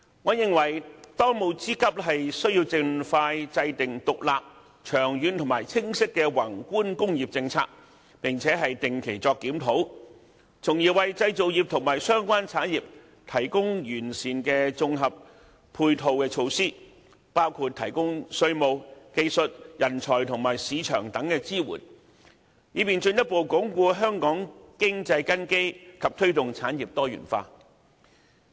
我認為當務之急，是盡快制訂獨立、長遠而清晰的宏觀工業政策，並且定期檢討，從而為製造業和相關產業提供完善的綜合配套措施，包括提供稅務、技術、人才和市場等支援，以便進一步鞏固香港經濟根基並推動產業多元化。